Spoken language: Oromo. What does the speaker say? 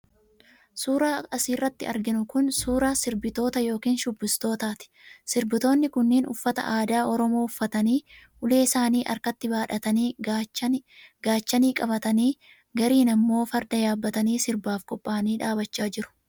Suuraan as irratti arginu kun suuraa sirbitootaa ( shubbistootaa) ti. Sirbitoonni kunniin uffata aadaa Oromoo uffatanii, ulee isaanii harkatti baadhatanii, gaachanii qabatanii, gariin ammoo farda yaabbatanii sirbaaf qophaa'anii dhaabachaa jiru.